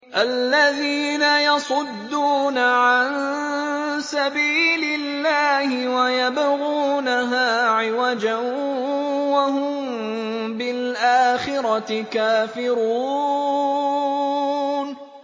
الَّذِينَ يَصُدُّونَ عَن سَبِيلِ اللَّهِ وَيَبْغُونَهَا عِوَجًا وَهُم بِالْآخِرَةِ كَافِرُونَ